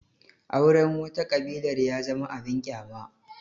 Auren wata ƙabilar ya zama abin ƙyama